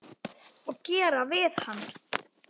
Og gera hvað við hann?